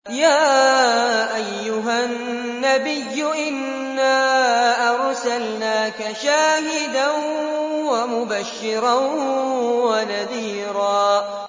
يَا أَيُّهَا النَّبِيُّ إِنَّا أَرْسَلْنَاكَ شَاهِدًا وَمُبَشِّرًا وَنَذِيرًا